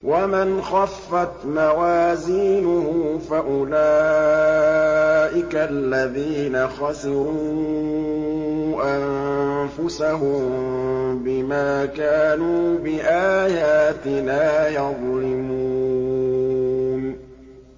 وَمَنْ خَفَّتْ مَوَازِينُهُ فَأُولَٰئِكَ الَّذِينَ خَسِرُوا أَنفُسَهُم بِمَا كَانُوا بِآيَاتِنَا يَظْلِمُونَ